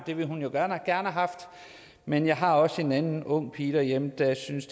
det ville hun jo gerne have haft men jeg har også en anden ung pige derhjemme der synes